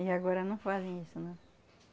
E agora não fazem isso né.